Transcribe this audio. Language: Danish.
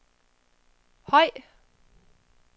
høj